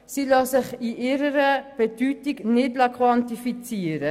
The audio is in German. Diese lassen sich in ihrer Bedeutung nicht quantifizieren.